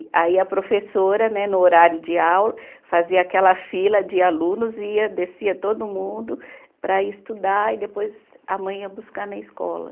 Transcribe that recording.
Aí a professora, né, no horário de aula, fazia aquela fila de alunos e ia, descia todo mundo para ir estudar e depois a mãe ia buscar na escola.